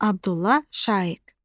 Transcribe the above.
Abdullah Şaiq.